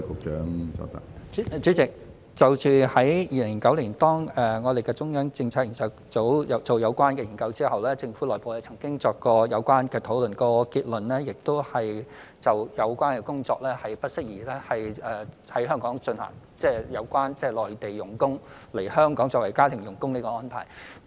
主席，中央政策組在2009年進行有關研究之後，政府內部曾經進行有關討論，結論是不適宜在香港進行有關工作，即有關內地傭工來香港作為家庭傭工的安排。